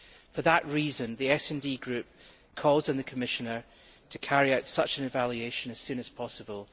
For that reason, the SD Group calls on the Commissioner to carry out such an evaluation as soon as possible.